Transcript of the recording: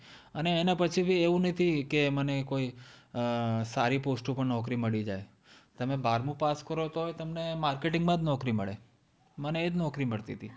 અને એના પછી ભી એવું નથી કે મને કોઈ અમ સારી Post ઉપર નોકરી મળી જાય. તમે બારમું પાસ કરો તોય તમને marketing માં જ નોકરી મળે. મને એ જ નોકરી મળતી તી.